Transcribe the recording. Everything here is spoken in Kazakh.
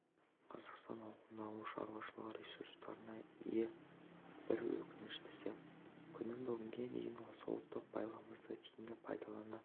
қазақстан ауқымды ауыл шаруашылығы ресурстарына ие бір өкініштісі күні бүгінге дейін осы ұлттық байлығымызды тиімді пайдалана